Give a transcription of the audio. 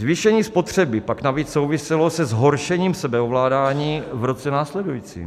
Zvýšení spotřeby pak navíc souviselo se zhoršením sebeovládání v roce následujícím.